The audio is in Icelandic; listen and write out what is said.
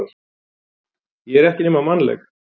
Ég er ekki nema mannleg.